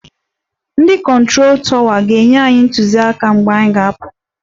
Ndị kụntrolu tọwa ga-enye anyị ntụziaka mgbe anyị ga-apụ.